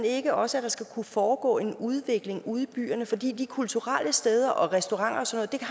ikke også at der skal kunne foregå en udvikling ude i byerne for de kulturelle steder restauranter